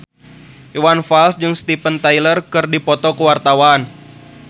Iwan Fals jeung Steven Tyler keur dipoto ku wartawan